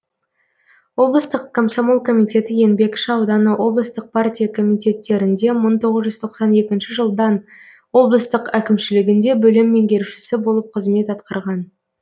облыстық комсомол комитеті еңбекші ауданы облыстық партия комитеттерінде мың тоғыз жүз тоқсан екінші жылдан облыстық әкімшілігінде бөлім меңгерушісі болып қызмет атқарған